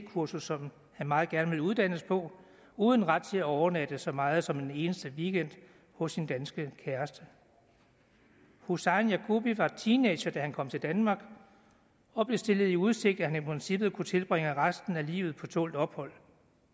kursus som han meget gerne ville uddannes på uden ret til at overnatte så meget som en eneste weekend på sin danske kæreste husain yagubi var teenager da han kom til danmark og blev stillet i udsigt at han i princippet kunne tilbringe resten af livet på tålt ophold